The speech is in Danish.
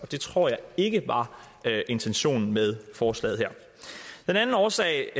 det tror jeg ikke var intentionen med forslaget her den anden årsag